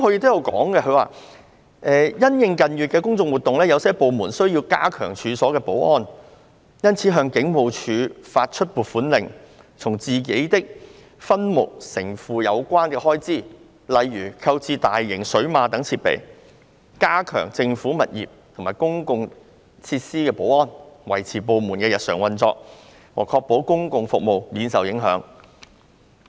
他表示："因應近月的公眾活動，有些部門需要加強處所的保安，因此向香港警務處發出撥款令，從自己的分目承付有關的開支，例如購置大型水馬等設備，以加強政府物業和公共設施保安，維持部門的日常運作和確保公共服務免受影響。